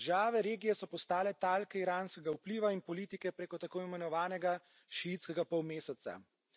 Države regije so postale talke iranskega vpliva in politike preko tako imenovanega šiitskega polmeseca.